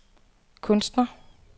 kunstner